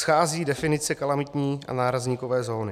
Schází definice kalamitní a nárazníkové zóny.